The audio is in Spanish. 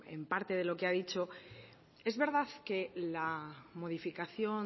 en parte de lo que ha dicho es verdad que la modificación